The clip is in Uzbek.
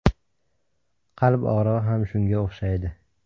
Qalb og‘rig‘i ham shunga o‘xshaydi.